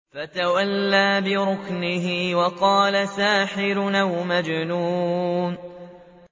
فَتَوَلَّىٰ بِرُكْنِهِ وَقَالَ سَاحِرٌ أَوْ مَجْنُونٌ